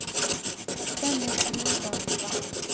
Dennis Brustad